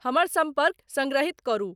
हमर संपर्क संग्रहित करू।